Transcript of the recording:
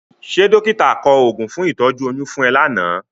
Ṣé dọ́kítà kọ oògùn fún ìtọ́jú oyún fún ẹ lánàá?